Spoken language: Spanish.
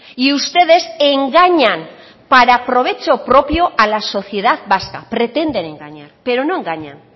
y ustedes engañan para provecho propio a la sociedad vasca pretenden engañar pero no engañan